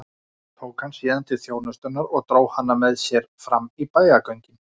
Tók hann síðan til þjónustunnar og dró hana með sér fram í bæjargöngin.